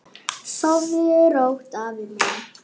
Sofðu rótt, afi minn.